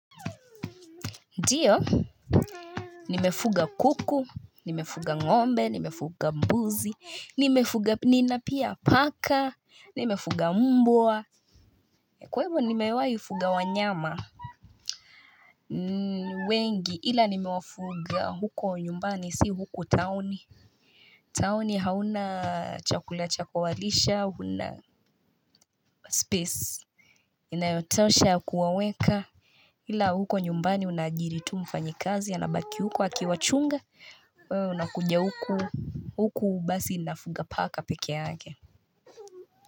Ndiyo Nimefuga kuku, nimefuga ngombe, nimefuga mbuzi, nina pia paka, nimefuga mbwa Kwevo nimewai fuga wanyama wengi ila nimewafuga huko nyumbani, si huku town Town hauna chakula chakuwalisha, huna space Inayotosha kuwaweka ila huko nyumbani unajiri tu mfanyakazi anabaki huko akiwachunga wewe unakuja huku, huku basi nafuga paka peke yake.